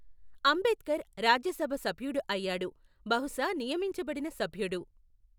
అంబేద్కర్ రాజ్యసభ సభ్యుడు అయ్యాడు, బహుశా నియమించబడిన సభ్యుడు.